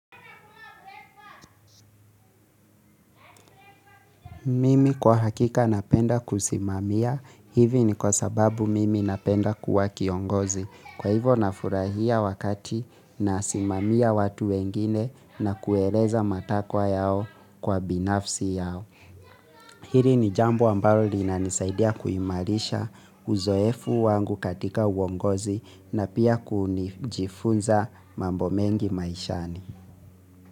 Mimi kwa hakika napenda kusimamia, hivi ni kwa sababu mimi napenda kuwa kiongozi. Kwa hivo nafurahia wakati nasimamia watu wengine na kueleza matakwa yao kwa binafsi yao. Hili ni jambo ambalo linanisaidia kuimarisha uzoefu wangu katika uongozi na pia kunijifunza mambo mengi maishani.